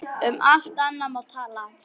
Um allt annað má tala.